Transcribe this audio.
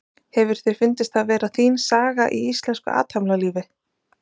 Hefur þér fundist það vera þín saga í íslensku athafnalífi?